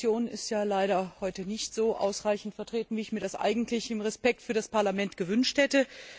Die Kommission ist ja leider heute nicht so ausreichend vertreten wie ich mir das eigentlich aus Respekt für das Parlament gewünscht hätte.